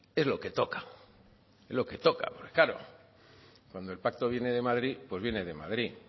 es lo que toca es lo que toca porque claro cuando el pacto viene de madrid pues viene de madrid